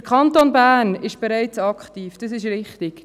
Der Kanton Bern ist bereits aktiv, das ist richtig.